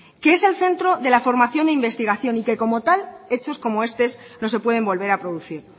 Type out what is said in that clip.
que es el centro de la formación e investigación y que como tal hechos como estos no se pueden volver a producir